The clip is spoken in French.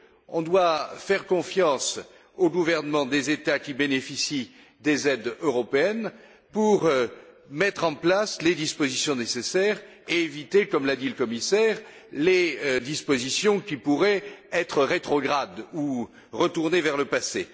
On doit faire confiance aux gouvernements des États qui bénéficient des aides européennes pour mettre en place les dispositions nécessaires et éviter, comme l'a dit le commissaire, les dispositions qui pourraient être rétrogrades ou retourner vers le passé.